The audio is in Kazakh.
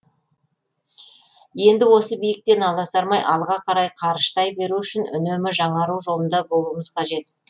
енді осы биіктен аласармай алға қарай қарыштай беру үшін үнемі жаңару жолында болуымыз қажет